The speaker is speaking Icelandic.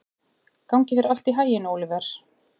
Gangi þér allt í haginn, Óliver.